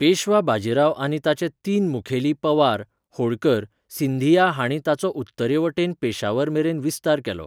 पेशवा बाजीराव आनी ताचे तीन मुखेली पवार, होळकर, सिंधिया हाणी ताचो उत्तरेवटेन पेशावर मेरेन विस्तार केलो.